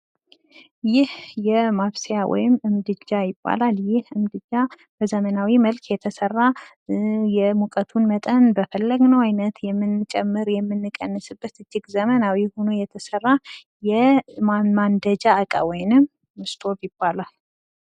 ይህ ማብሰያ ምድጃ ይባላል። ይህ ምድጃ በዘመናዊ መልኩ የተሰራ የሙቀቱን መጠን እንደፈለግን የምንጨምር የምንቀንስበት እጅግ ዘመናዊ ሆኖ የተሰራ፤ የማንደጃ እቃ ወይንም እስቶቭ ይባላል።